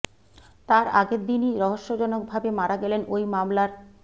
তার আগের দিনই রহস্যজনক ভাবে মারা গেলেন ওই মামলার